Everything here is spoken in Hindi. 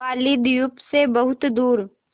बालीद्वीप सें बहुत दूर